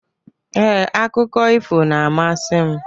Ee, akụkọ ifo na-amasị m.